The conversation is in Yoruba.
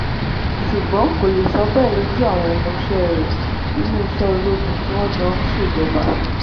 ṣùgbọ́n kò lè sọ bẹ́ẹ̀ lójú àwọn ọmọọṣẹ́ rẹ̀ nínú iṣẹ́ ológun tí wọ́n jọ ń ṣèjọba